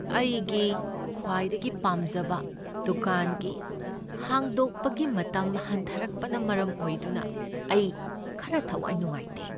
ꯑꯩꯒꯤ ꯈ꯭ꯋꯥꯏꯗꯒꯤ ꯄꯥꯝꯖꯕ ꯗꯨꯀꯥꯟꯒꯤ ꯍꯥꯡꯗꯣꯛꯄꯒꯤ ꯃꯇꯝ ꯍꯟꯊꯔꯛꯄꯅ ꯃꯔꯝ ꯑꯣꯏꯗꯨꯅ ꯑꯩ ꯈꯔ ꯊꯋꯥꯏ ꯅꯨꯡꯉꯥꯏꯇꯦ꯫